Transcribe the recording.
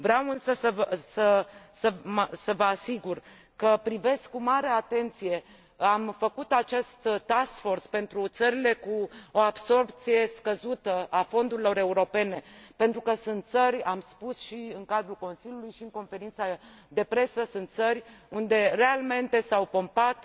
Vreau însă să vă asigur că am făcut acest task force pentru țările cu o absorbție scăzută a fondurilor europene, pentru că sunt țări am spus și în cadrul Consiliului, și în conferința de presă unde realmente s au pompat